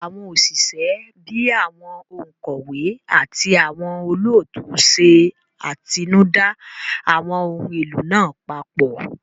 Àwọn òṣìṣẹ́ bíi àwọn òǹkọ̀wé àti àwọn olóòtú ṣe atinúdá àwọn ohun èlò náà papọ̀